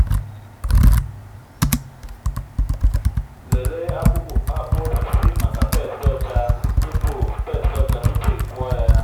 lelee akpu osisi maka pests ọcha tupu pests ọcha tupu ị kụọ ya.